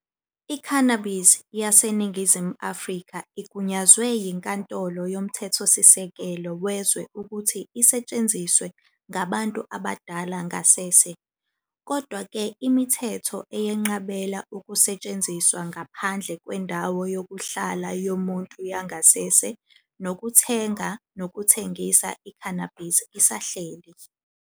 I-Cannabis yaseNingizimu Afrika igunyazwe yiNkantolo Yomthethosisekelo wezwe ukuthi isetshenziswe ngabantu abadala ngasese. Kodwa-ke, imithetho eyenqabela ukusetshenziswa ngaphandle kwendawo yokuhlala yomuntu yangasese nokuthenga nokuthengisa i-cannabis isahleli.